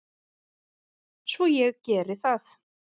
Svo ég geri það.